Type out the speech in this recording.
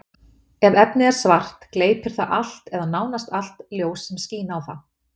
Ef efnið er svart, gleypir það allt, eða nánast allt, ljós sem skín á það.